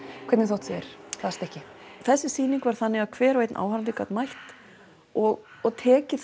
hvernig þótti þér það stykki þessi sýning var þannig að hver og einn áhorfandi gat mætt og og tekið